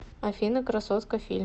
афина красотка фильм